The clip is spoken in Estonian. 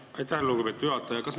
Aitäh, lugupeetud juhataja!